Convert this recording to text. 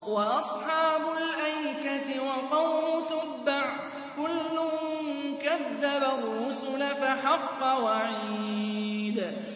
وَأَصْحَابُ الْأَيْكَةِ وَقَوْمُ تُبَّعٍ ۚ كُلٌّ كَذَّبَ الرُّسُلَ فَحَقَّ وَعِيدِ